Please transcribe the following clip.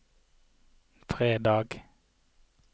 fredag